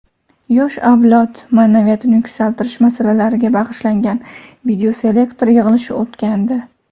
yosh avlod maʼnaviyatini yuksaltirish masalalariga bag‘ishlangan videoselektor yig‘ilishi o‘tgandi.